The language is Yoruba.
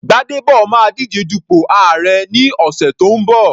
Gbadebo máa díje dupò àárẹ̀ ní ọ̀sẹ̀ tó ń bọ̀.